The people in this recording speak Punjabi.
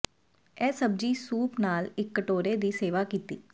ਇਹ ਸਬਜ਼ੀ ਸੂਪ ਨਾਲ ਇਸ ਕਟੋਰੇ ਦੀ ਸੇਵਾ ਕੀਤੀ